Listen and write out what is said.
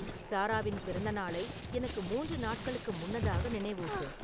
சாராவின் பிறந்தநாளை எனக்கு மூன்று நாட்களுக்கு முன்னதாக நினைவூட்டு